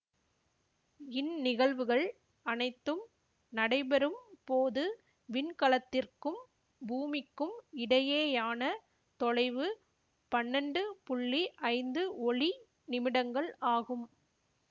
இந்நிகழ்வுகள் அனைத்தும் நடைபெறும் போது விண்கலத்திற்கும் பூமிக்கும் இடையேயான தொலைவு பன்னெண்டு புள்ளி ஐந்து ஒளி நிமிடங்கள் ஆகும்